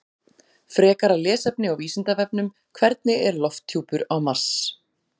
Frekara lesefni á Vísindavefnum: Hvernig er lofthjúpur Mars?